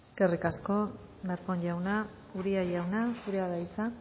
eskerrik asko darpón jauna uria jauna zurea da hitza